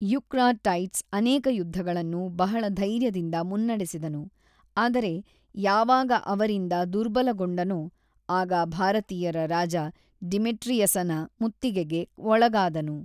Eucratides ಅನೇಕ ಯುದ್ಧಗಳನ್ನು ಬಹಳ ಧೈರ್ಯದಿಂದ ಮುನ್ನಡೆಸಿದನು ಆದರೆ ಯಾವಾಗ ಅವರಿಂದ ದುರ್ಬಲಗೊಂಡನೊ ಆಗ ಭಾರತೀಯರ ರಾಜ ಡಿಮೆಟ್ರಿಯಸನ ಮುತ್ತಿಗೆಗೆ ಒಳಗಾದನು.